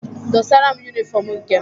Dosara m yunịfọm nke m!